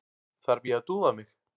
Þarf ég að dúða mig?